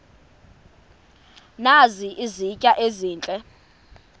nazi izitya ezihle